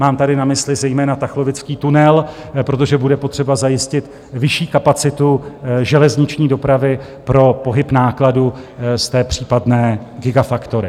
Mám tady na mysli zejména tachlovický tunel, protože bude potřeba zajistit vyšší kapacitu železniční dopravy pro pohyb nákladu z té případné gigafactory.